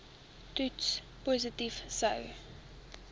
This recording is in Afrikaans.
toets positief sou